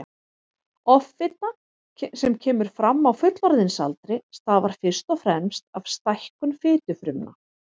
Offita sem kemur fram á fullorðinsaldri stafar fyrst og fremst af stækkun fitufrumna.